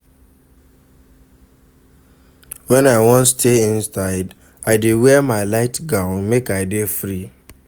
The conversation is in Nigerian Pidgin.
Wen I wan stay inside, I dey wear my light gown make I dey free.